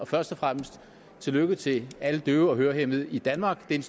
først og fremmest tillykke til alle døve og hørehæmmede i danmark det